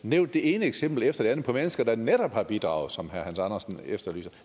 nævnt det ene eksempel efter det andet på mennesker der netop har bidraget som herre hans andersen efterlyser